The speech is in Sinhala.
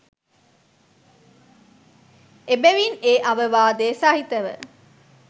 එබැවින් ඒ අවවාදය සහිතව